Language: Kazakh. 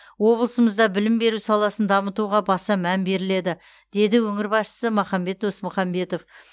облысымызда білім беру саласын дамытуға баса мән беріледі деді өңір басшысы махамбет досмұхамбетов